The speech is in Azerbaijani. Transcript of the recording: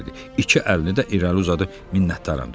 İki əlini də irəli uzadıb minnətdaram dedi.